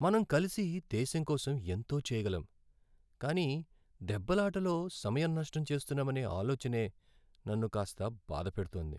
మనం కలిసి దేశంకోసం ఎంతో చెయ్యగలం కానీ దెబ్బలాటలో సమయం నష్టం చేస్తున్నామనే ఆలోచనే నన్ను కాస్త బాధ పెడుతోంది.